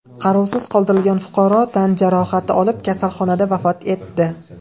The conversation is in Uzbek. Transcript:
Qarovsiz qoldirilgan fuqaro tan jarohati olib, kasalxonada vafot etdi.